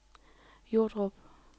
Jordrup